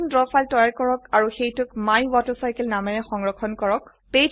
এটি নতুন draw file তৈয়াৰ কৰক আৰু সেইটোক মাইৱেটাৰচাইকেল নামেৰে সংৰক্ষণ কৰক